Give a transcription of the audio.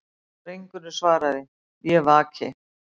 Drengurinn svaraði:-Ég vaki.